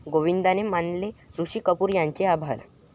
गोविंदाने मानले ऋषी कपूर यांचे आभार